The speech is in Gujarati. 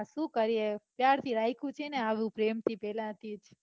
સુ કરીયે ક્યારથી રાઈખું છે ને આવું પ્રેમથી પેલાથી